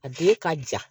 A don ka ja